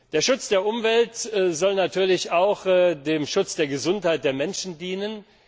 Der Schutz der Umwelt soll natürlich auch dem Schutz der Gesundheit der Menschen dienen.